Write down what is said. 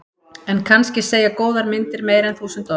En kannski segja góðar myndir meira en þúsund orð.